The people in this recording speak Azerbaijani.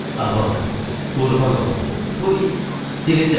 A bala, qurban olum, bu dilimdə yatmır.